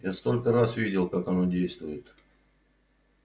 я столько раз видел как оно действует